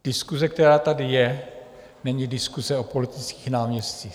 Diskuse, která tady je, není diskuse o politických náměstcích.